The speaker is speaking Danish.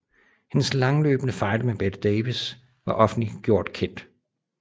Hendes langløbende fejde med Bette Davis var offentliggjort kendt